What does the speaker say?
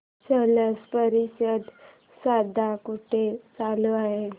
स्लश परिषद सध्या कुठे चालू आहे